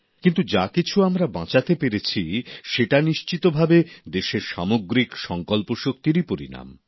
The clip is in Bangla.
কিন্তু যা কিছু আমরা বাঁচাতে পেরেছি সেটা নিশ্চিতভাবে দেশের সামগ্রিক সংকল্পশক্তিরই পরিণাম